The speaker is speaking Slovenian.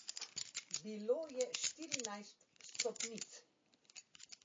Bilo je štirinajst stopnic.